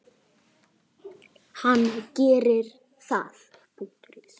Kannski er í rauninni meira undrunarefni að kosningaréttur skyldi þróast til þess að verða almennur.